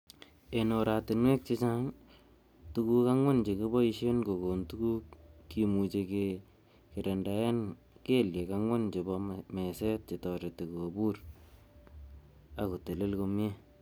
En oratinwek che chang, Tuguk angwan chekiboishen kokon tuguk kimuche kegerendaen kelyek angwan chebo meset chetoreti kobur ak kotel komie.